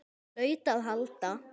Það hlaut að halda.